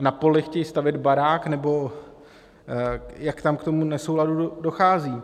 na poli chtějí stavět barák, nebo jak tam k tomu nesouladu dochází.